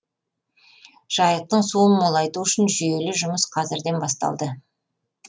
жайықтың суын молайту үшін жүйелі жұмыс қазірден басталды